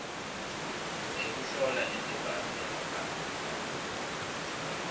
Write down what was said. ekuhlola nemibhalo emabanga